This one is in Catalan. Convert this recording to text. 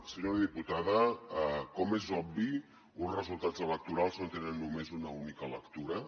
senyora diputada com és obvi uns resultats electorals no tenen només una única lectura